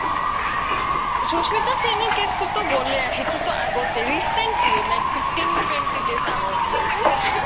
সুশ্মিতা সেনৰ case তো গ্'লে সেইতোতো আগতে recently like fifteen twenty days আগৰ case হয় এটা